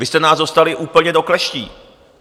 Vy jste nás dostali úplně do kleští.